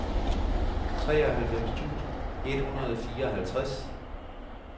treoghalvfems tusind et hundrede og fireoghalvtreds